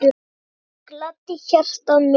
Það gladdi hjartað mitt.